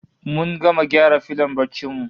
Mun gama gyara filon barcin mu